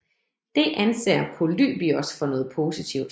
Det anser Polybios for noget positivt